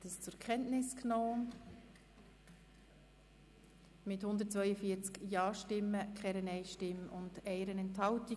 Sie haben den Bericht zur Kenntnis genommen mit 142 Ja- gegen 0 Nein-Stimmen bei 1 Enthaltung.